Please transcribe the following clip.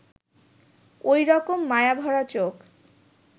ওই রকম মায়াভরা চোখ